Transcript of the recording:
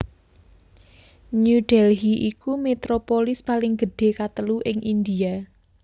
New Delhi iku metropolis paling gedhé katelu ing India